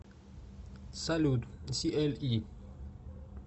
салют сиэльи